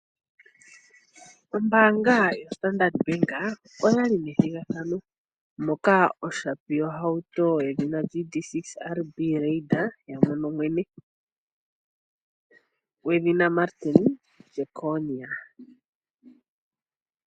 Ombaanga yoStandard Bank oya li nethigathano moka oshapi yohauto yedhina GD-6 RB Raider ya mono mwene gwedhina Martin Jeckonia.